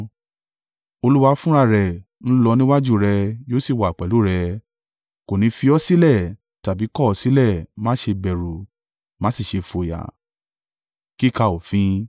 Olúwa fúnra rẹ̀ ń lọ níwájú rẹ yóò sì wà pẹ̀lú rẹ; kò ní fi ọ́ sílẹ̀ tàbí kọ̀ ọ́ sílẹ̀. Má ṣe bẹ̀rù má sì ṣe fòyà.”